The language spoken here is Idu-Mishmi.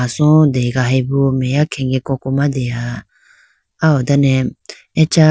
so degahayibo meya khege koko ma deha ah ho dane acha.